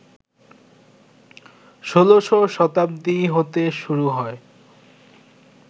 ১৬শ শতাব্দী হতে শুরু হয়